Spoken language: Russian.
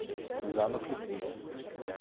замок любви